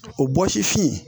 O bɔsifin